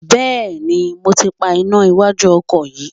Bẹẹni, mo ti pa iná iwájú ọkọ̀ yín.